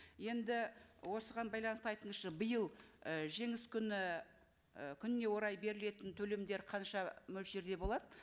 енді осыған байланысты айтыңызшы биыл ы жеңіс күні і күніне орай берілетін төлемдер қанша мөлшерде болады